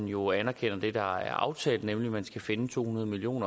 jo anerkender det der er aftalt nemlig at man skal finde to hundrede million